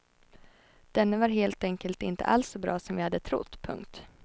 Denne var helt enkelt inte alls så bra som vi hade trott. punkt